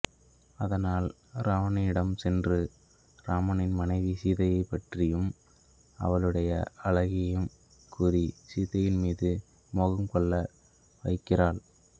அதனால் இராவணனிடம் சென்று இராமனின் மனைவி சீதையைப் பற்றியும் அவளுடைய அழகினையும் கூறி சீதையின் மீது மோகம் கொள்ள வைக்கிறாள்